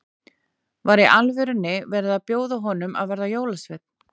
Var í alvörunni verið að bjóða honum að verða jólasveinn?